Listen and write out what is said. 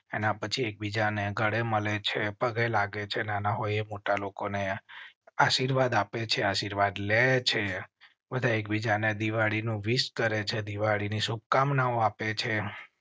પછી એક બીજા ને ઘરે મળે છે, પગે લાગે છે નાના હોય, મોટા લોકોને આશીર્વાદ આપે છે. આશીર્વાદ લે છે એક બીજા ને. વિશ કરેં છે દિવાળી ની શુભકામનાઓ આપે છે